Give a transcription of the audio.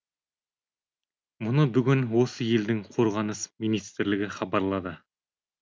мұны бүгін осы елдің қорғаныс министрлігі хабарлады